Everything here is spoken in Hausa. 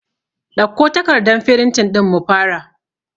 Ɗauko takardan firintin ɗin mu fara